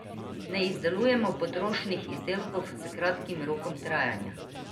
Ne izdelujemo potrošnih izdelkov s kratkim rokom trajanja.